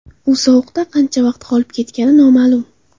U sovuqda qancha vaqt qolib ketgani noma’lum.